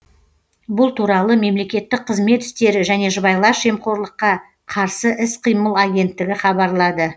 бұл туралы мемлекеттік қызмет істері және сыбайлас жемқорлыққа қарсы іс қимыл агенттігі хабарлады